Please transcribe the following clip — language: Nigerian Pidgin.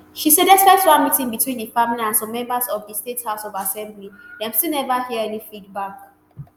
she say despite one meeting between di family and some members of di state house of assembly dem still neva hear any feedback